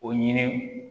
O ɲini